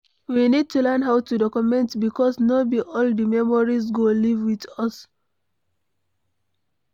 We need to learn how to document because no be all di memories go live with us